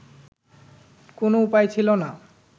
কোন উপায় ছিলো না